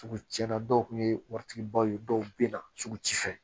Sugu cɛn na dɔw kun ye wari tigibaw ye dɔw bɛ na sugu ci fɛ